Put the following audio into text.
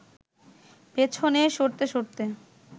পেছনে সরতে সরতে